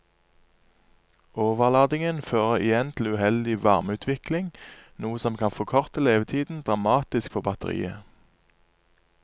Overladingen fører igjen til uheldig varmeutvikling, noe som kan forkorte levetiden dramatisk for batteriet.